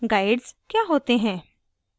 guides क्या होते हैं